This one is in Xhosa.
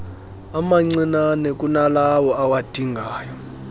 amancinnane kunalawo awadingayo